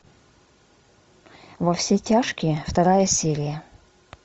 во все тяжкие вторая серия